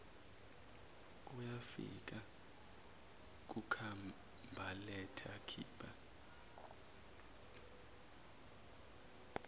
uyafika kukhabhaletha khipha